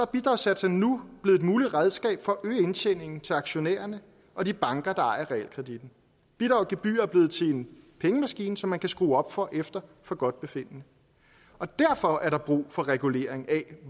bidragssatserne nu blevet et muligt redskab for at øge indtjeningen til aktionærerne og de banker der ejer realkreditten bidrag og gebyrer er blevet til en pengemaskine som man kan skrue op for efter forgodtbefindende derfor er der brug for regulering af